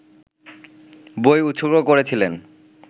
বই উৎসর্গ করেছিলেন